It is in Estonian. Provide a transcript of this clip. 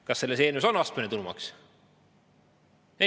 Kas selles eelnõus on astmeline tulumaks?